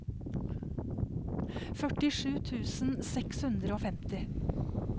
førtisju tusen seks hundre og femti